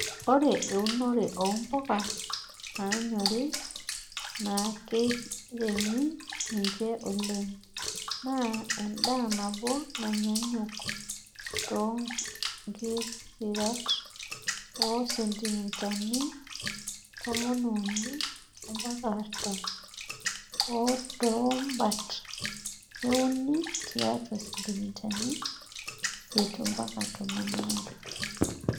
Ore teunore oo mpuka naanyori nakeiremi ninche oleng enaa endaa naboo nanyanyuk too nkirishat oo sentimitani tomoni uni ompaka artam oo too mbat neuni tiatua sentimitani isiet ompaka tomon aare.